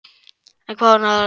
En hvað var nú þetta í miðbænum?